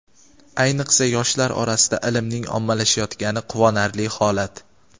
ayniqsa yoshlar orasida ilmning ommalashayotgani quvonarli holat.